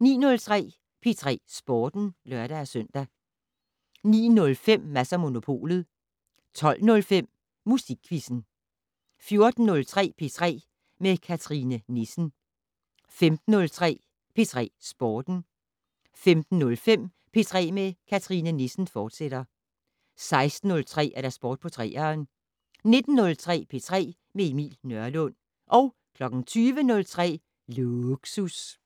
09:03: P3 Sporten (lør-søn) 09:05: Mads & Monopolet 12:05: Musikquizzen 14:03: P3 med Cathrine Nissen 15:03: P3 Sporten 15:05: P3 med Cathrine Nissen, fortsat 16:03: Sport på 3'eren 19:03: P3 med Emil Nørlund 20:03: Lågsus